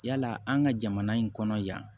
Yala an ka jamana in kɔnɔ yan